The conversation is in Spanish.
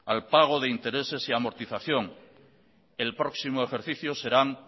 al pago de intereses y amortización el próximo ejercicio serán